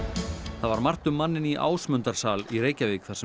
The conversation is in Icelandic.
það var margt um manninn í Ásmundarsal í Reykjavík þar sem